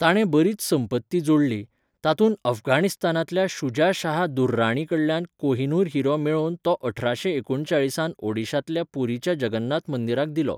ताणें बरीच संपत्ती जोडली, तातूंत अफगाणिस्तानांतल्या शुजा शाह दुर्राणीकडल्यान कोहिनूर हिरो मेळोवन तो अठराशे एकूणचाळिसांत ओडिशांतल्या पुरीच्या जगन्नाथ मंदिराक दिलो.